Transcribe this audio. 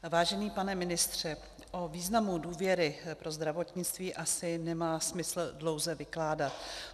Vážený pane ministře, o významu důvěry pro zdravotnictví asi nemá smysl dlouze vykládat.